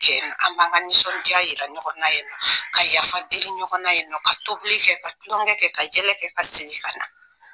Yen, an b'an ka nisɔndiya jira ɲɔgɔn na yen, ka yafa deli ɲɔgɔnna yen, ka tobili kɛ, ka tulonkɛ kɛ, ka yɛlɛ kɛ, ka segin ka na!